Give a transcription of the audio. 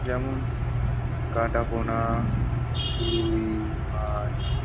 যেমন কাটাপোনা রুই মাছ ।